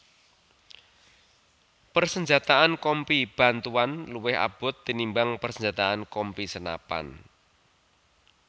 Persenjataan Kompi Bantuan luwih abot tinimbang persenjataan Kompi senapan